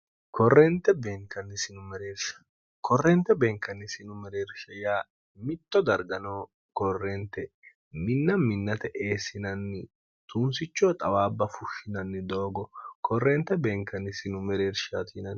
korrente beenkannisinu mereershe yaa mitto dargano korrente minna minnate eessinanni tuunsichoo xawaabba fushshinanni doogo korrente beenkannisinu mereershti